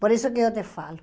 Por isso que eu te falo.